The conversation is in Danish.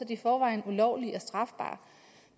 i forvejen ulovlige og strafbare